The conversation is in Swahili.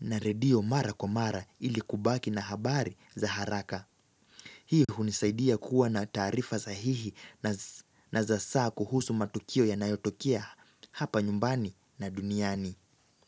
na redio mara kwa mara ilikubaki na habari za haraka. Hii hunisaidia kuwa na taarifa sahihi na za saa kuhusu matukio yanayotokea hapa nyumbani na duniani.